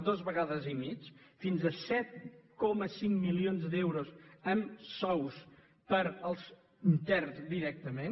dues vegades i mitja fins a set coma cinc milions d’euros en sous per als interns directament